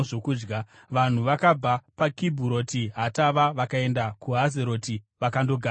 Vanhu vakabva paKibhuroti Hataavha vakaenda kuHazeroti vakandogara ikoko.